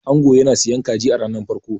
ango yana siyan kaji a ranar farko